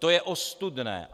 To je ostudné!